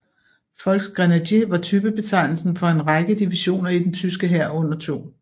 Volksgrenadier var typebetegnelsen for en række divisioner i den tyske hær under 2